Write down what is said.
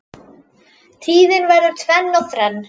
Tíðin verður tvenn og þrenn